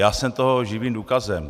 Já jsem toho živým důkazem.